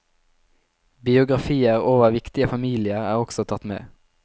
Biografier over viktige familier er også tatt med.